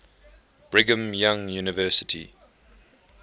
brigham young university